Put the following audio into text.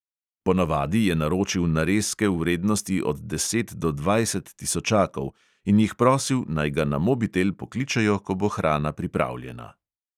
Ponavadi je naročil narezke v vrednosti od deset do dvajset tisočakov in jih prosil, naj ga na mobitel pokličejo, ko bo hrana pripravljena.